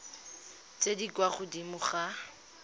tse di kwa godimo ga